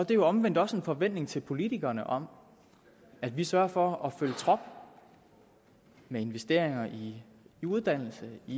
jo omvendt også en forventning til politikerne om at vi sørger for at følge trop med investeringer i uddannelse i